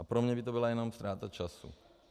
A pro mne by to byla jenom ztráta času.